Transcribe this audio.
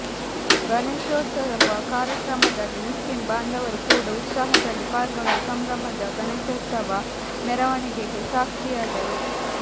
ಗಣೇಶೋತ್ಸವ ಕಾರ್ಯಕ್ರಮದಲ್ಲಿ ಮುಸ್ಲಿಂ ಬಾಂಧವರು ಕೂಡ ಉತ್ಸಾಹದಲ್ಲಿ ಪಾಲ್ಗೊಂಡು ಸಂಭ್ರಮದ ಗಣೇಶೋತ್ಸವ ಮೆರವಣಿಗೆಗೆ ಸಾಕ್ಷಿಯಾದರು